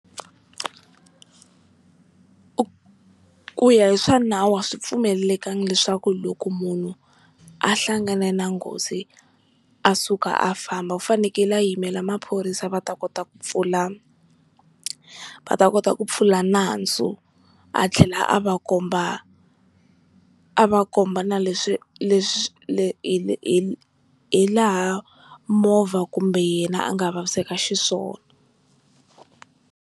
Ku ya hi swa nawu a swi pfumelelekangi leswaku loko munhu a hlangane na nghozi a suka a famba, u fanekele a yimela maphorisa va ta kota ku pfula va ta kota ku pfula nandzu a tlhela a va komba a va komba na leswi leswi hi hilaha movha kumbe yena a nga vaviseka xiswona.